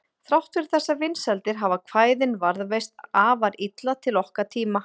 Þrátt fyrir þessar vinsældir hafa kvæðin varðveist afar illa til okkar tíma.